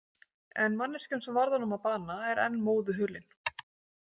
En manneskjan sem varð honum að bana er enn móðu hulin.